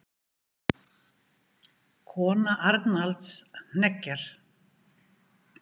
Kona Arnalds hneggjar.